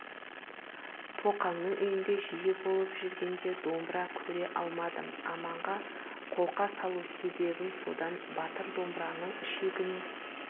тоқаңның үйінде жиі болып жүргенде домбыра көре алмадым аманға қолқа салу себебім содан батыр домбыраның ішегіне